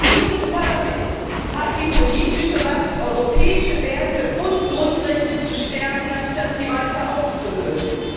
Dieses Parlament hat die politische Macht, europäische Werte und Grundrechte zu stärken, anstatt sie weiter auszuhöhlen.